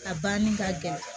A banni ka gɛlɛn